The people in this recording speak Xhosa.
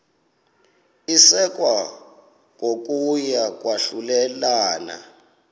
isekwa kokuya kwahlulelana